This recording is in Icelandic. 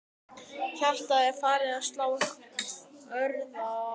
Hjartað er farið að slá örar.